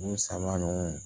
Ni sanba ɲɔgɔn